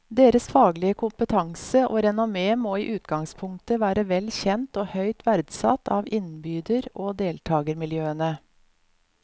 Deres faglige kompetanse og renommé må i utgangspunktet være vel kjent og høyt verdsatt av innbyder og deltagermiljøene.